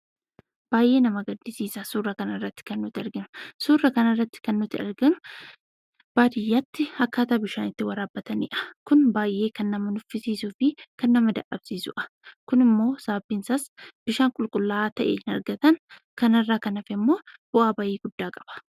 Baay'ee nama gaddisiisa. Suura kanarratti kan argaa jirru baadiyyaatti akkaataa bishaan itti waraabbatanidha. Kunis kan nama nuffisiisuu fi kan nama dadhabsiisudha. Kunimoo sababni isaas bishaan qulqullaa’aa ta'e hin argatan, kanarraa kan hafe I.moo bau'aa bahii guddaa qaba.